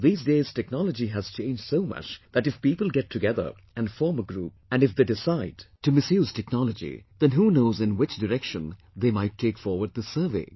These days technology has changed so much that if people get together and form a group and if they decide to misuse technology, then who knows in which direction they might take forward this survey